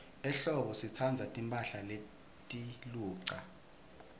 ehlobo sitsandza timphahla letiluca